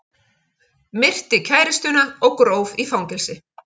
Myrti kærustuna og gróf í fangelsi